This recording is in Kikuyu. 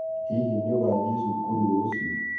Hihi nĩũgathĩe cũkũrũ rũcĩũ?